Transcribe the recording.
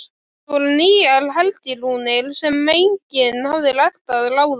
Þetta voru nýjar helgirúnir sem enginn hafði lært að ráða.